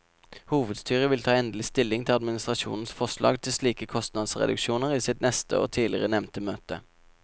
Hovedstyret vil ta endelig stilling til administrasjonens forslag til slike kostnadsreduksjoner i sitt neste og tidligere nevnte møte.